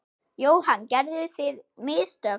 Jóhann: Gerðuð þið mistök?